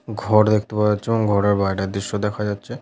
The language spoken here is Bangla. ঘর দেখতে পাওয়া যাচ্ছে। এবং ঘরের বাইরের দৃশ্য দেখা যাচ্ছে।